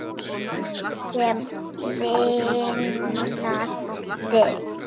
Allt, sem lifnar, deyr.